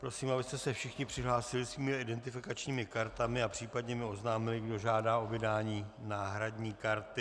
Prosím, abyste se všichni přihlásili svými identifikačními kartami a případně mi oznámili, kdo žádá o vydání náhradní karty.